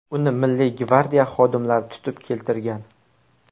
Uni Milliy gvardiya xodimlari tutib keltirgan.